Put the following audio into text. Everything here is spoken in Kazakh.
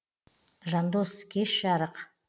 жандос кеш жарық